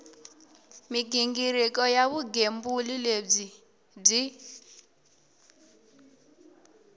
mighingiriko ya vugembuli lebyi byi